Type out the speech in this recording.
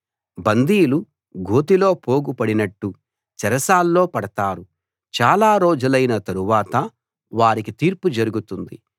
బందీలు గోతిలో పోగు పడినట్టు చెరసాల్లో పడతారు చాలా రోజులైన తరువాత వారికి తీర్పు జరుగుతుంది